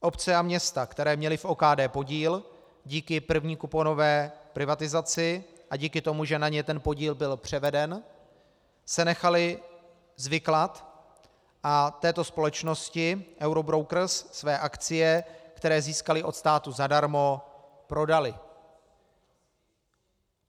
Obce a města, které měly v OKD podíl díky první kuponové privatizaci a díky tomu, že na ně ten podíl byl převeden, se nechaly zviklat a této společnosti Eurobrokers své akcie, které získaly od státu zadarmo, prodaly.